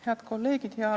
Head kolleegid!